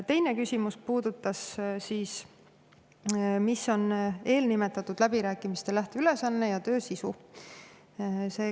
Teine küsimus: "Mis on eelnimetatud läbirääkimiste lähteülesanne ja töö sisu?